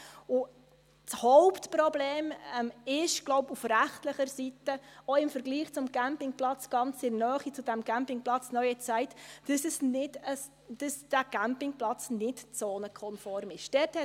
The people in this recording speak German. Das Hauptproblem auf rechtlicher Seite ist, glaube ich – auch im Vergleich zum Campingplatz ganz in der Nähe, zu diesem Campingplatz «Neue Zeit», – dass dieser Campingplatz nicht zonenkonform ist.